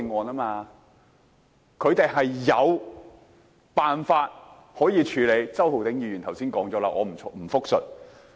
他們是有辦法可以處理的，周浩鼎議員剛才亦有提及，我不再複述。